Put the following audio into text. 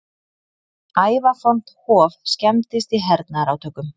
Ævafornt hof skemmdist í hernaðarátökum